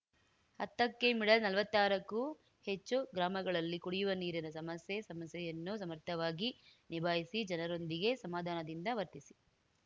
ಹತ್ತಕ್ಕೆಮಿಡಲ್‌ನಲ್ವತ್ತಾರಕ್ಕೂ ಹೆಚ್ಚು ಗ್ರಾಮಗಳಲ್ಲಿ ಕುಡಿವ ನೀರಿನ ಸಮಸ್ಯೆ ಸಮಸ್ಯೆಯನ್ನು ಸಮರ್ಥವಾಗಿ ನಿಭಾಯಿಸಿ ಜನರೊಂದಿಗೆ ಸಮಾಧಾನದಿಂದ ವರ್ತಿಸಿ